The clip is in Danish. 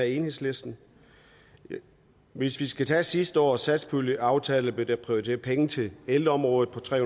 enhedslisten hvis vi skal tage sidste års satspuljeaftale blev der prioriteret penge til ældreområdet på tre